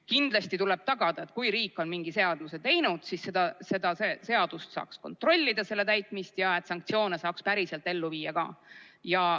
Kindlasti tuleb tagada, et kui riik on mingi seaduse teinud, siis selle seaduse täitmist saaks kontrollida ja sanktsioone saaks päriselt ka ellu viia.